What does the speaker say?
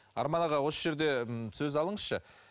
арман аға осы жерде ммм сөз алыңызшы